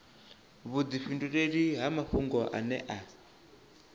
vhudifhinduleli ha mafhungo ane a